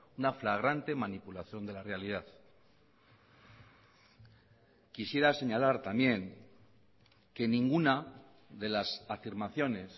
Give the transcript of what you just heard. una flagrante manipulación de la realidad quisiera señalar también que ninguna de las afirmaciones